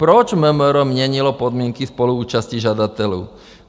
Proč MMR měnilo podmínky spoluúčasti žadatelů?